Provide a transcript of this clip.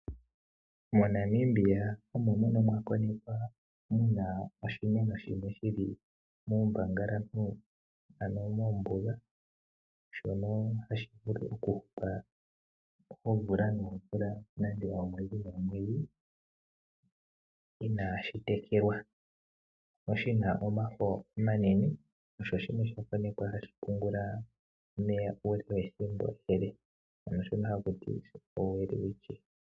MoNamibia omo mono mwakonekwa muna oshimeno shimwe shili muumbangalantu ano mombuga shono hashi vulu okupula oomvula noomvula nenge oomwedhi noomwedhi inaashi tekelwa. Oshina omafo omanene, osho shimwe sha konekwa hashi pungula omeya uule wethimbo ele, ano shono hakuti oWelwitchia.